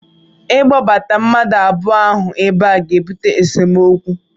ịkpọbata mmadụ abụọ ahụ ebe a ga-ebute esemokwu